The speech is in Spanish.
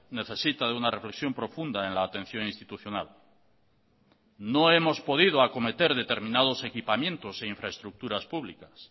necesita de una reflexión profunda en la atención institucional no hemos podido acometer determinados equipamientos e infraestructuras públicas